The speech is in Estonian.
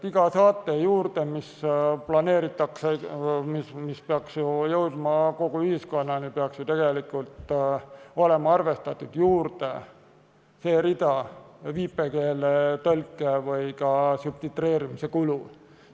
Iga saate juurde, mis planeeritakse ja mis peaks jõudma kogu ühiskonnani, peaks ju tegelikult olema arvestatud juurde see viipekeeletõlke või ka subtitreerimise rida.